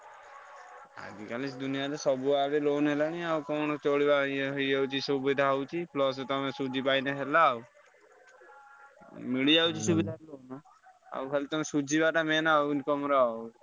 ଆଜିକାଲି ଦୁନିଆରେ ସବୁ loan ହେଲାଣି ଆଉ କଣ ଚଳିବ ଇଏ ହେଇଯାଉଛି ସୁବିଧା ହଉଛି plus ତମେ ସୁଝିପାଇଲେ ହେଲା ଆଉ ମିଳିଯାଉଛି ସୁବିଧା। ଆଉ ଖାଲି ତମେ ସୁଝିବାଟା main ଆଉ income ର ଆଉ।